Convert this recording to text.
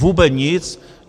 Vůbec nic.